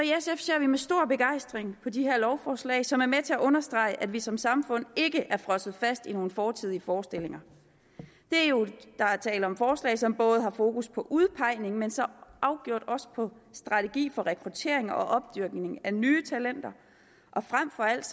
ser vi med stor begejstring på de her lovforslag som er med til at understrege at vi som samfund ikke er frosset fast i nogle fortidige forestillinger der er tale om forslag som har fokus på udpegningen men så afgjort også på strategi for rekruttering og opdyrkning af nye talenter og frem for alt